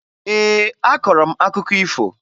Ee, akọrọ m akụkọ ifo